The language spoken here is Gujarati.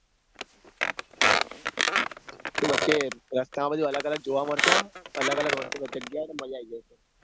તો વચ્ચે રસ્તામાં બધું અલગ અલગ જોવા મળશે આમ અલગ અલગ વસ્તુ નો જગ્યા હ તે મજા આઈ જશે હ તે